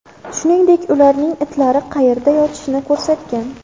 Shuningdek, ularning itlari qayerda yotishini ko‘rsatgan.